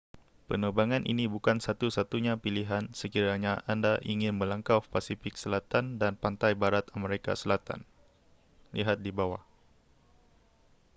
penerbangan ini bukan satu-satunya pililhan sekiranya anda ingin melangkau pasifik selatan dan pantai barat amerika selatan. lihat di bawah